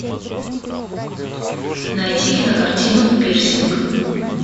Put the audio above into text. найти кинокартину пирсинг